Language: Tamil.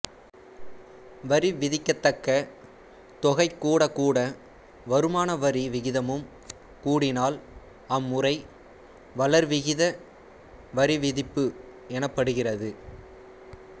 வரி விதிக்கத்தக்கத் தொகை கூடக்கூட வருமான வரி விகிதமும் கூடினால் அம்முறை வளர்விகித வரிவிதிப்பு எனப்படுகிறது